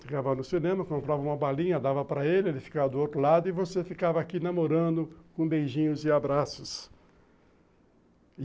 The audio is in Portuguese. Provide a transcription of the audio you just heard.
Ficava no cinema, comprava uma balinha, dava para ele, ele ficava do outro lado e você ficava aqui namorando com beijinhos e abraços.